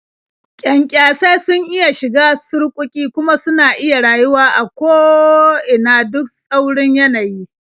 Kyankyasai sun iya shiga surƙuƙi, kuma suna iya rayuwa a ko ina duk tsaurin yanayi.